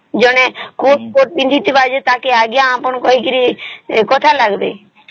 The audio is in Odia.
ଜଣେ coat ପିନ୍ଧିଥିବା ଯେ ତାଙ୍କୁ ଆଜ୍ଞା ଆପଣ କହିକିରି କଥା ଲାଗିବେ